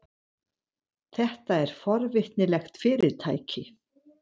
Þetta er forvitnilegt fyrirtæki.